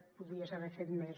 podies haver fet més